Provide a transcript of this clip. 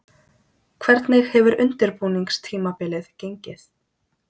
Hvernig hefur undirbúningstímabilið gengið?